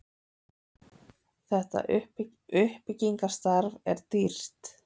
þetta uppbyggingarstarf er dýrt